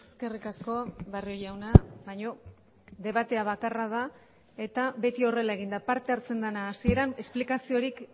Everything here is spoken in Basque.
eskerrik asko barrio jauna baina debatea bakarra da eta beti horrela egin da parte hartzen dena hasieran esplikaziorik